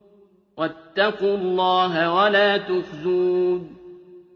وَاتَّقُوا اللَّهَ وَلَا تُخْزُونِ